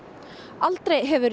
aldrei hefur